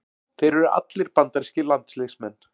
Þeir eru allir bandarískir landsliðsmenn